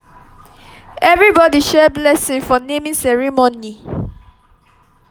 everybody share blessing for naming ceremony.